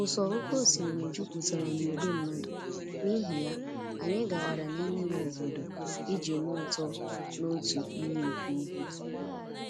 ụsọ oké osimiri jupụtara na ìgwè mmadụ, n'ihi ya, anyị gawara n'ime ime obodo iji nụ ụtọ n'otu iyi nke ugwu.